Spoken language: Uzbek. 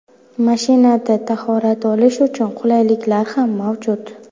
Mashinada tahorat olish uchun qulayliklar ham mavjud.